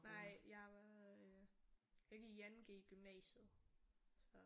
Nej jeg var øh jeg gik i 2.g i gymnasiet så